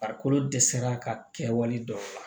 Farikolo dɛsɛra ka kɛwale dɔw la